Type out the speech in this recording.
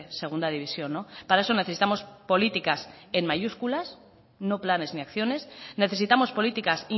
segunda división para eso necesitamos políticas en mayúsculas no planes ni acciones necesitamos políticas